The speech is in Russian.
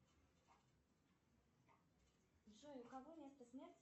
джой у кого место смерти